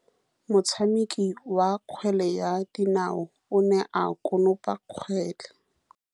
Motshameki wa kgwele ya dinaô o ne a konopa kgwele.